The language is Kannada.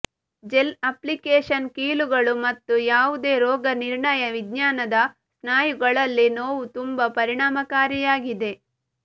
ಜೆಲ್ ಅಪ್ಲಿಕೇಶನ್ ಕೀಲುಗಳು ಮತ್ತು ಯಾವುದೇ ರೋಗನಿರ್ಣಯ ವಿಜ್ಞಾನದ ಸ್ನಾಯುಗಳಲ್ಲಿ ನೋವು ತುಂಬಾ ಪರಿಣಾಮಕಾರಿಯಾಗಿದೆ